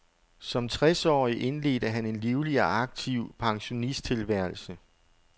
Som tres årig indledte han en livlig og aktiv pensionisttilværelse.